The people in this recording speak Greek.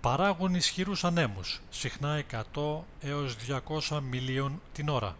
παράγουν ισχυρούς ανέμους συχνά 100-200 μιλίων/ώρα